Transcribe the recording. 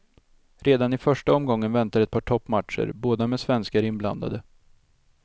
Redan i första omgången väntar ett par toppmatcher, båda med svenskar inblandade.